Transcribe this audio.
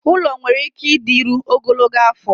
ụlọ nwere ike ịdịru ogologo afọ